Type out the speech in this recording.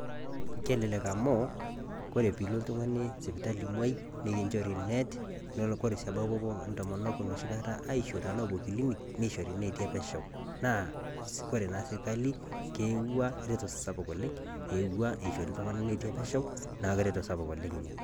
Kelelek amuu, kore piilo oltungani sipitali imuoi, nikinchori net. Nelo sii kore pebau ntomonok noshikata aisho tanaa aapuo kilinik neishori ineeti epesho. Naa kore naa sirkali keewua reto sapuk oleng', eewua eishori iltung'ana neeti epesho, naaku reto sapuk oleng' ina.